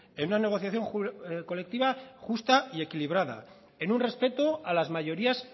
en una negociación colectiva justa y equilibrada en un respeto a las mayorías